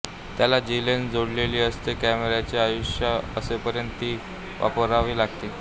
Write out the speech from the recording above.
त्याला जी लेन्स जोडलेली असते कॅमेराचे आयुष्य असेपर्यंत तीच वापरावी लागते